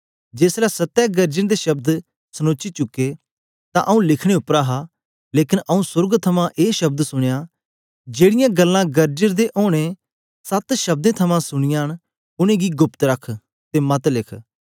जेस ले सत्ते गरजन दे शब्द सनोची चुके ते आऊँ लिखने उपर हा लेकन आऊँ सोर्ग थमां ए शब्द सुनया जेकी गल्लां गरजन दे ओनें सत्त शब्दें थमां सुनीयां न उनेंगी गुप्त रख ते मत लिख